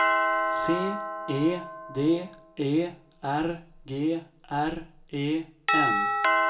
C E D E R G R E N